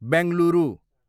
Bengaluru